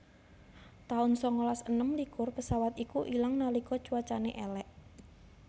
taun sangalas enem likur pesawat iku ilang nalika cuacane elek